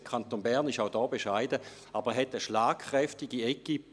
Der Kanton Bern ist auch hier bescheiden, aber er hat eine schlagkräftige Equipe.